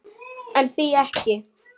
En því ekki?